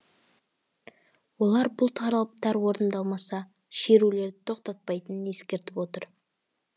олар бұл талаптары орындалмаса шерулерді тоқтатпайтынын ескертіп отыр